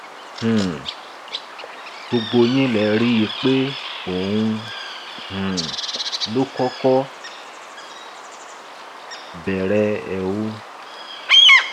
um gbogbo yín lẹ rí i pé òun um ló kọkọ bẹrẹ ẹ o